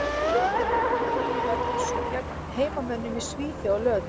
Lokaleikurinn á mótinu verður svo gegn heimamönnum í Svíþjóð á laugardaginn.